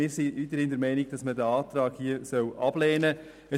Wir sind weiterhin der Meinung, dass man diesen Antrag ablehnen soll.